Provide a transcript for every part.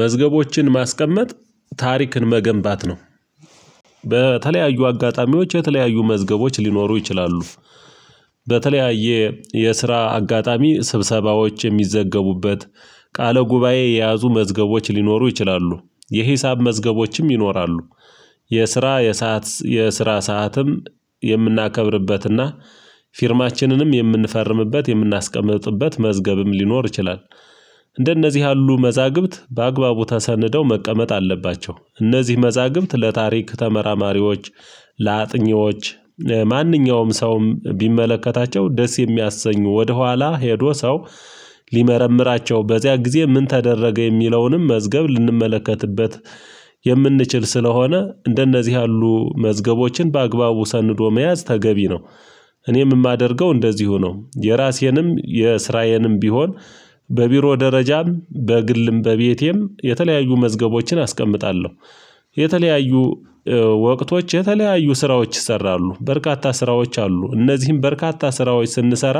መዝገቦችን ማስቀመጥ ታሪክን መገንባት ነው። በተለያዩ አጋጣሚዎች የተለያዩ መዝገቦች ሊኖሩ ይችላሉ። በተለያየ የስራ አጋጣሚ ስብሰባዎች የሚዘገቡበት ቃለ ጉባኤ የያዙ መዝገቦች ሊኖሩ ይችላሉ። የሂሳብ መዝገቦችም ይኖራሉ። የስራ የሰዓት የስራ ሰዓትም የምናከብርበትና ፊርማችንንም የምንፈርምበት የምናስቀምጥበት መዝገብም ሊኖር ይቻላል። አንደነዚህ ያሉ መዛግብት በአግባቡ ተሰንደው መቀመጥ አለባቸው። አንዚህ መዛግብት ለታሪክ ተመራማሪዎች ለአጥኚዎች ማንኛውም ሰውም ቢመለከታቸው ደስ የሚያሰኙ ወደኋላ ሄዶ ሰው ሚመረምራቸው በዚያ ጊዜ ምን አደረገ የሚለውን መዝገብ ምንመለከትቤት ማንኛውም ሰውም ቢመለከታቸው ደስ የሚያሰኙ ወደኋላ ሄዶ ሰው በቢሮ ደረጃም በግልም በቤቴም የተለያዩ መዝገቦችን አስቀምጣለሁ። ሊመረምራቸው በዚያ ጊዜ ምን ተደረገ የሚለውንም መዝገብ ልንመለከትበት የምንችል ስለሆነ እንደነዚህ ያሉ መዝገቦችን በአግባቡ ሰንዶ መያዝ ተገቢ ነው። እኔም የማደርገው እንደዚሁ ነው። የራሴንም የስራዬንም ቢሆን አሁን ባለው ሁኔታ በቢሮ ደረጃም በግልም በቤቴም የተለያዩ መዝገቦችን አስቀምጣለሁ። እንደነዚህ ያሉ ሀሳቦች ወደኋላ መጥተው የሆነ ጊዜ ላይ እነዛን የሚያስታውስ የተለያዩ ወቅቶች የተለያዩ ስራዎች ይሰራሉ። በርካታ ስራዎች አሉ። እነዚህም በርካታ ስራዎች ስንሰራ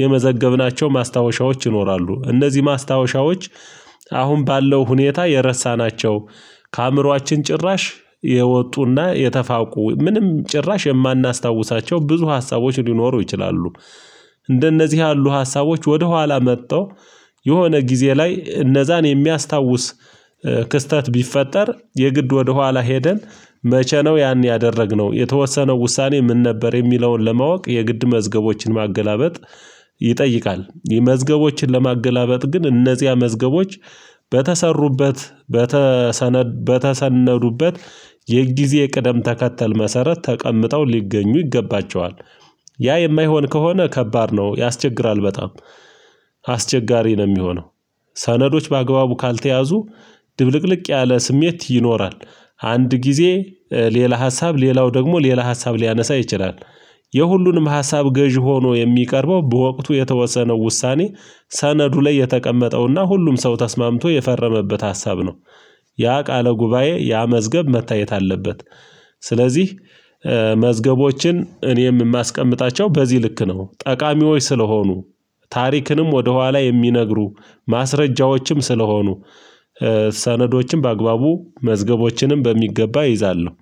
የመዘገብናቸው ማስታወሻዎች ይኖራሉ። እነዚህ ማስታወሻዎች አሁን ባለው ሁኔታ የረሳናቸው ከአእምሮአችን ጭራሽ የወጡና የተፋውቁ ምንም ጭራሽ የማናስታውሳቸው ብዙ ሀሳቦች ሊኖሩ ይችላሉ። ያ የማይሆን ከሆነ ከባድ ነው። ያስቸግራል። በጣም እንደነዚህ ያሉ ሀሳቦች ወደኋላ መጥተው የሆነ ጊዜ ላይ እነዛን የሚያስታውስ እንደነዚህ ያሉ ሀሳቦች ወደኋላ መጥተው የሆነ ጊዜ ላይ እነዛን የሚያስታውስ። የሁሉንም ሀሳብ ገዢ ሆኖ የሚቀርበው በወቅቱ የተወሰነው ውሳኔ። ያ የማይሆን ከሆነ ከባድ ነው። ያስቸግራል። በጣም ክስተት ቢፈጠር የግድ ወደኋላ ሄደን መቼ ነው? ያን ያደረግነው የተወሰነው ውሳኔ ምን ነበር የሚለውን ለማወቅ የግድ መዝገቦችን ማገላበጥ ይጠይቃል። መዝገቦችን ለማገላበጥ ግን እነዚያ መዝገቦች በተሰሩበት ስለዚህ መዝገቦችን እኔም የማስቀምጣቸው በዚህ ልክ ነው። ጠቃሚዎች ስለሆኑ በተሰነዱበት። የጊዜ የቅደም ተከተል መሰረት ተቀምጠው ሊገኙ ይገባቸዋል። ያ የማይሆን ከሆነ ከባድ ነው ያስቸግራል በጣም